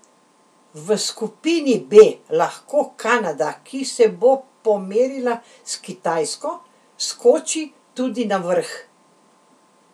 V skupini B lahko Kanada, ki se bo pomerila s Kitajsko, skoči tudi na vrh.